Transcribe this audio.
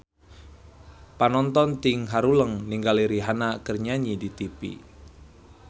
Panonton ting haruleng ningali Rihanna keur nyanyi di tipi